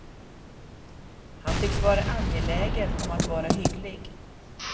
Han tycks vara angelägen om att vara hygglig.